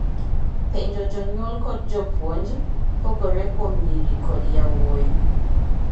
penjo jonyuol kod jopuonjpogore kuom nyiri kod yawuoyi